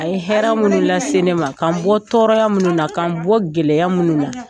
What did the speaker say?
A ye hɛrɛ minnu lase ne ma ,k'an bɔ tɔɔrɔya minnu na, k'an bɔ gɛlɛya minnu na